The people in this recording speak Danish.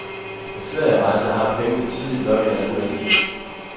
På ferierejser har pengene tydeligt nok en anden værdi.